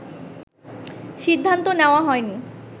সিদ্ধান্ত নেওয়া হয়নি